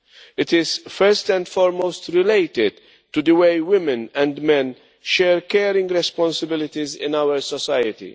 It is first and foremost related to the way women and men share caring responsibilities in our society.